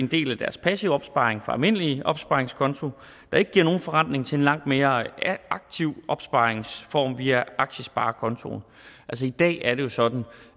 del af deres passive opsparing fra almindelig opsparingskonto der ikke giver nogen forrentning til en langt mere aktiv opsparingsform via aktiesparekontoen i dag er det jo sådan